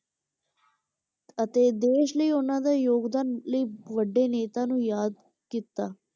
ਅਤੇ ਦੇਸ ਲਈ ਉਹਨਾਂ ਦਾ ਯੋਗਦਾਨ ਲਈ ਵੱਡੇ ਨੇਤਾ ਨੂੰ ਯਾਦ ਕੀਤਾ